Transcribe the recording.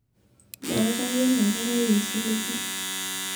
maatayie ena kerai osiligi